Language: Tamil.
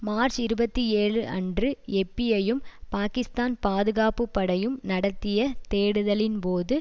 மார்ச்இருபத்தி ஏழு அன்று எப்பீஐயும் பாகிஸ்தான் பாதுகாப்புப்படையும் நடத்திய தேடுதலின் போது